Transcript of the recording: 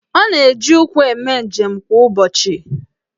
Ọ na-eji ụkwụ eme njem kwa ụbọchị?